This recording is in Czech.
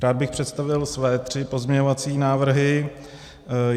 Rád bych představil své tři pozměňovací návrhy.